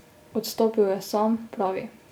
Odstopil je sam, pravi.